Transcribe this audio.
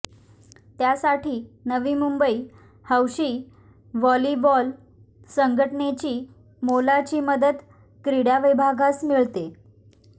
त्यासाठी नवी मुंबई हौशी व्हॉलिबॉल संघटनेची मोलाची मदत क्रिडाविभागास मिळते